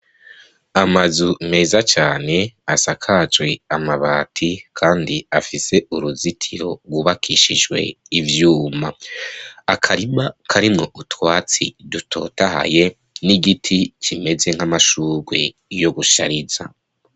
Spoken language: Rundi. Amazu meza cane asakajwe amabati, kandi afise uruzitiro rubakishijwe ivyuma akariba karimwo utwatsi dutotahaye n'igiti kimeze nk'amashurwi yo gushariza.